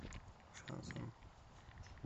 шансон